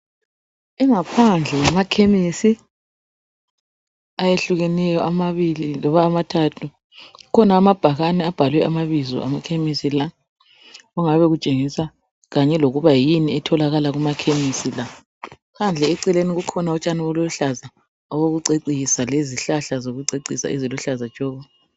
Ingaphandle yamakhemisi, ayehlukeneyo amabili loba amathathu. Kukhona amabhakane abhalwe amabizo amakhemisi la okungabe kutshengisa kanye lokuba yini ekutholakala kumakhemisi la. Phandle eceleni kukhona utshani obuluhlaza obokucecisa lezihlahla zokucecisa eziluhlaza tshoko.